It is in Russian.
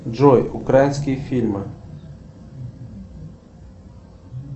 джой украинские фильмы